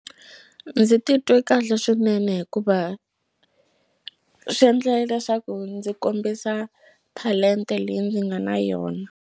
Ndzi titwe kahle swinene hikuva swi endle leswaku ndzi kombisa talenta leyi ndzi nga na yona.